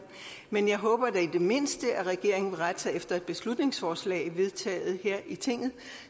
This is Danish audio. men jeg håber da i det mindste at regeringen vil rette sig efter et beslutningsforslag vedtaget her i tinget